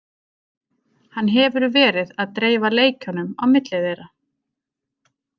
Hann hefur verið að dreifa leikjunum á milli þeirra.